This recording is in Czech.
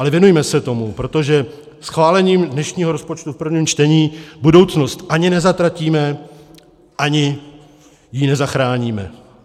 Ale věnujme se tomu, protože schválením dnešního rozpočtu v prvním čtení budoucnost ani nezatratíme, ani ji nezachráníme.